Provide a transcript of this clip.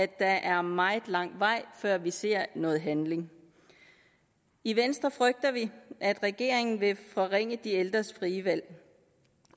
der er meget lang vej før vi ser noget handling i venstre frygter vi at regeringen vil forringe de ældres frie valg